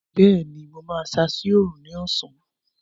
Bẹẹni, mo máa ṣáá sí Òòrùn ní ọ̀sán